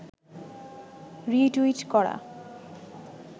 retweet করা